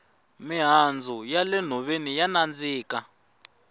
mihandzu ya le nhoveni ya nandzika